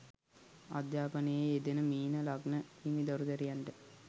අධ්‍යාපනයේ යෙදෙන මීන ලග්න හිමි දරු දැරියන්ට